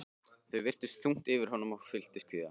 Það virtist þungt yfir honum og ég fylltist kvíða.